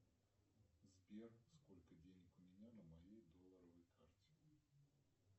сбер сколько денег у меня на моей долларовой карте